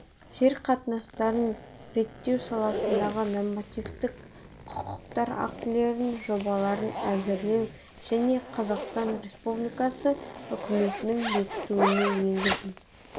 жер қатынастарын реттеу саласындағы нормативтік құқықтық актілердің жобаларын әзірлеу және қазақстан республикасы үкіметінің бекітуіне енгізу